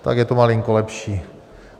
Tak je to malinko lepší...